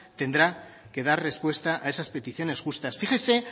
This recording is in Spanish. tendrá que dar respuesta a esas peticiones justas fíjese